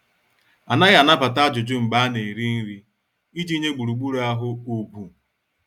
Anaghị anabata ajụjụ mgbe a na- eri nri, iji nye gburugburu ahụ ugwu.